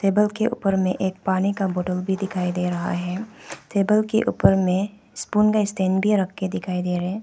Table के ऊपर में एक पानी का बोटल भी दिखाई दे रहा है टेबल के ऊपर में स्पून का स्टैंड भी रखके दिखाई दे रहे हैं।